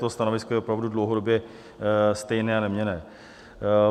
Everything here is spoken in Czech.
To stanovisko je opravdu dlouhodobě stejné a neměnné.